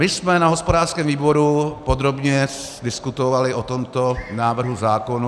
My jsme na hospodářském výboru podrobně diskutovali o tomto návrhu zákona...